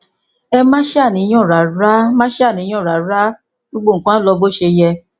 ẹ má ṣàníyàn rárá má ṣàníyàn rárá gbogbo nǹkan á lọ bó ṣe yẹ